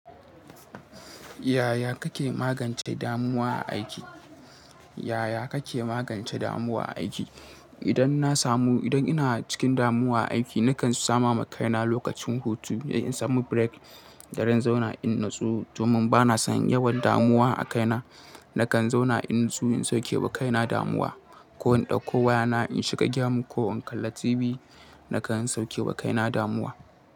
Yaya kake magance damuwa a aiki? Yaya kake magance damuwa a aiki? Idan na samu, idan ina cikin damuwa a aiki, na kan sama ma kaina lokacin hutu, in samu break, gara in zauna in natsu domin bana son yawan damuwa a kaina. Na kan zauna in natsu in sauke wa kaina damuwa ko in ɗauko wayana in shiga game ko in kalla TV na kan sauke ba kaina damuwa.